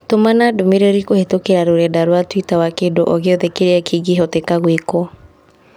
Tũmana Ndũmirĩri kũhĩtũkĩra rũrenda rũa tũita wa kĩndũ o gĩothe kĩrĩa kĩngĩ hota gũĩkũo.